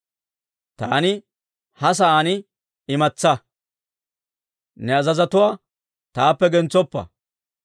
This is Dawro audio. Taani ha sa'aan imatsaa; ne azazotuwaa taappe gentsoppa.